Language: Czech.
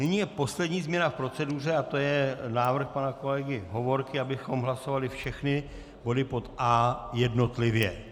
Nyní je poslední změna v proceduře a to je návrh pana kolegy Hovorky, abychom hlasovali všechny body pod A jednotlivě.